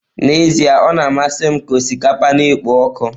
N'ezie o na-amasị m ka osikapa na-ekpo ọkụ.